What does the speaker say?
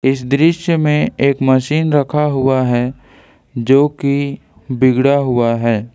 इस दृश्य में एक मशीन रखा हुआ है जो की बिगड़ा हुआ है।